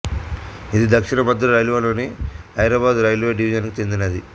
ఇది దక్షిణ మధ్య రైల్వేలొని హైదరాబాదు రైల్వే డివిజన్ కి చెందినది